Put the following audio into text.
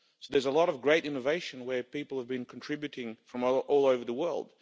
So there is a lot of great innovation where people have been contributing from all over the world.